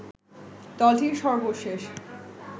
দলটির সর্বশেষ